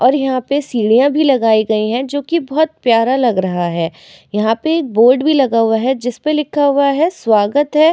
और यहाँ पे सीढिया भी लगाई गई हैं जोकि बहोत प्यारा लग रहा है। यहाँ पे एक बोर्ड भी लगा हुआ है जिसपे लिखा हुआ है स्वागत है।